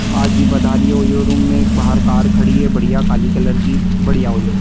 आ जी पधारियों OYO room में बाहर एक कार खड़ी है बढ़िया काली कलर की बढ़िया ओयो रूम ।